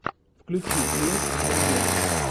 включи клиент всегда мертв